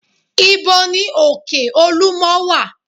Ìbo ní òkè olúmo wà?